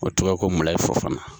O tɔgɔ ye ko Mulaye Fofana.